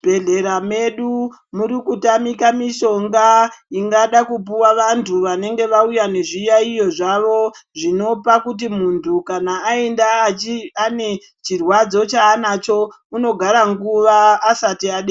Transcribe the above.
Muzvibhedhleya medu ,muri kutamika mishonga ingada kupuwa vantu vanenge vauya nezviyaiyo zvavo, zvinopa kuti muntu kana aenda achi ane chirwadzo chaanacho, unogara nguva aasati adetserwa.